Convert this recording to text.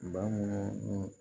Bamanaw